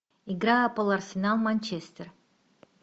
игра апл арсенал манчестер